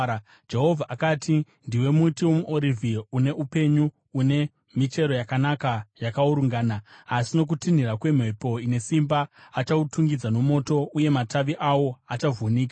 Jehovha akati ndiwe muti womuorivhi une upenyu, une michero yakanaka yakaurungana. Asi nokutinhira kwemhepo ine simba achautungidza nomoto, uye matavi awo achavhunika.